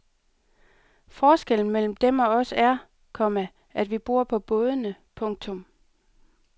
Forskellen mellem dem og os er, komma at vi bor på bådene. punktum